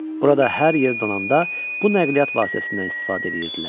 Burada hər yer donanda bu nəqliyyat vasitəsindən istifadə edirdilər.